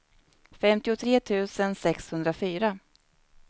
femtiotre tusen sexhundrafyra